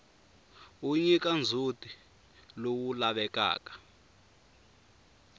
wu nyika ndzhutilowu lavekaka